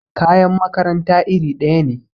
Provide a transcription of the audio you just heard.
kayan makaranta iri daya ne